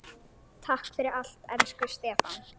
Takk fyrir allt elsku Stefán.